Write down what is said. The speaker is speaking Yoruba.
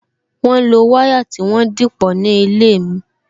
Wọn lo wire tí wọ́n dìpọ̀ ní ilé mi